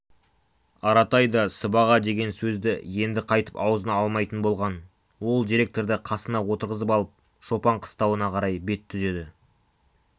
аратай да сыбаға деген сөзді енді қайтып аузына алмайтын болған ол директорды қасына отырғызып алып шопан қыстауына қарай бет түзеді